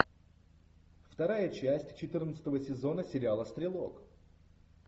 вторая часть четырнадцатого сезона сериала стрелок